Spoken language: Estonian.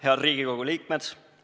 Head Riigikogu liikmed!